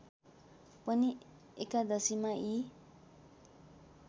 पनि एकादशीमा यी